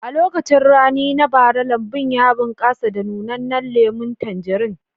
A lokacin rani na bara, lambun ya bunƙasa da nunannan lemun tanjarin